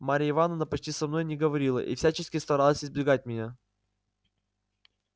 марья ивановна почти со мною не говорила и всячески старалась избегать меня